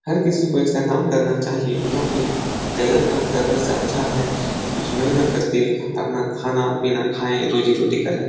हर किसी को ऐसा काम करना चाहिए क्योंकि गलत काम करने से अच्छा है कि कुछ मेहनत करके अपना खाना-पीना खाए रोज़ी-रोटी करें।